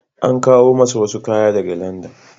An kawo masa wasu kaya daga Landan.